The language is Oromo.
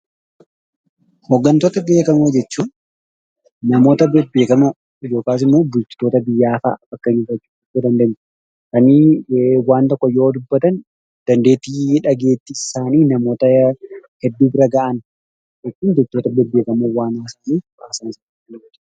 Hoggantoota beekamoo jechuun namoota beekamoo fakkeenyaaf hoggantoota biyyaa fa'a jechuu dandeenya. Kanneen waan tokko yommuu dubbatan dandeettiin dhageettii isaanii namoota hedduu bira gahan.